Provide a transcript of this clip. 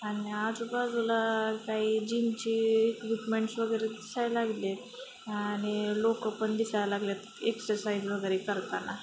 आणि आजूबाजूला काही जिमची माणसं वगैरे दिसायला लागलेत अह आणि लोकं पण दिसायला लागलेत एक्सरसाइज वगैरे करताना.